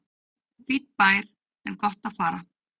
Fínn bær en gott að fara